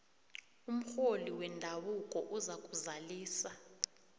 umrholi wendabuko uzakuzalisa